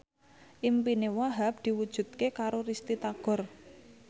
impine Wahhab diwujudke karo Risty Tagor